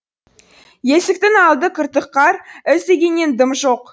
есіктің алды күртік қар із дегеннен дым жоқ